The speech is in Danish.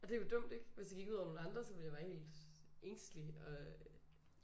Og det er jo dumt ik hvis det gik ud over nogle andre så ville jeg være helt ængstelig og